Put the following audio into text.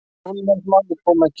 Svoleiðis maður kom ekki heim.